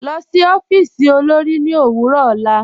Lọ sí ọfiísì olórì ni owurọ ọlá.